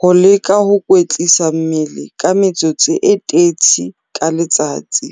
Ho leka ho kwetlisa mmele ka metsotso e 30 ka letsatsi.